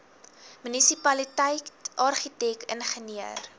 munisipaliteit argitek ingenieur